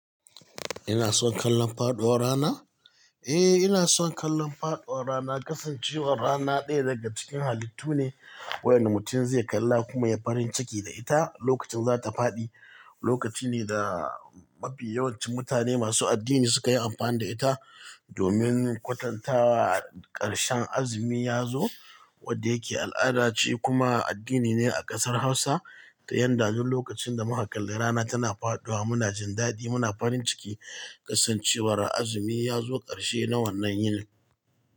Ina son kallon faɗuwar rana? Eh, ina son kallon faɗuwar rana. Kasancewar rana ɗaya daga cikin halittu ne waɗanda mutum zai kalla kuma ya farin ciki da ita lokacin za ta faɗi. Lokaci ne da mafi yawancin mutane masu addini suka yi amfani da ita domin kwatantawa ƙarshen azumi ya zo, wanda yake al'ada ce kuma addini ne a ƙasar Hausa. Ta yanda duk lokacin da muka kalli rana tana faɗuwa muna jin daɗi, muna farin ciki kasancewar azumi ya zo ƙarshe na wannan yini.